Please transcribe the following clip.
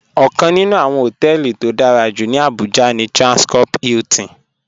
Ọ̀kaǹ nínù awọ́n họ̀tẹlì tó dárà jú ní Abuja ní Transcorp Hilton